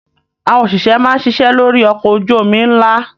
Àwọn òṣìṣẹ́ máa ń ṣiṣẹ́ lórí ọkọ̀ ojú-omi ńlá.